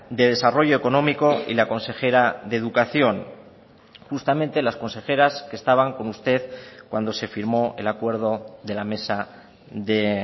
de desarrollo económico y la consejera de educación justamente las consejeras que estaban con usted cuando se firmó el acuerdo de la mesa de